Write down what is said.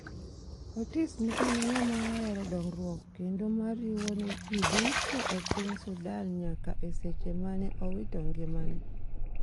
Otis ne en ng'ama oero dongruok kendo ma riwo ji duro e piny Sudan nyaka eseche mane owito engimane